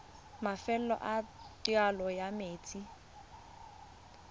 mafelo a taolo ya metsi